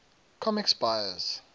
comics buyer s